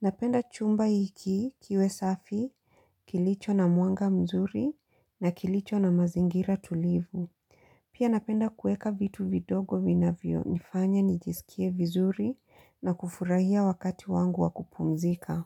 Napenda chumba hiki kiwe safi kilicho na mwanga mzuri na kilicho na mazingira tulivu. Pia napenda kueka vitu vidogo vinavyo nifanya nijisikie vizuri na kufurahia wakati wangu wa kupumzika.